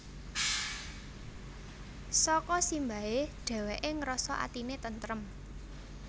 Saka simbahe dheweke ngrasa atine tentrem